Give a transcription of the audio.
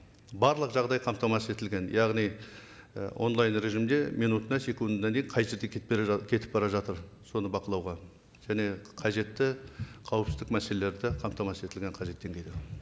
барлық жағдай қамтамасыз етілген яғни і онлайн режимде минутына секундына дейін қай жерде кетіп бара жатыр соны бақылауға және қажетті қауіпсіздік мәселелері де қамтамасыз етілген қажетті деңгейде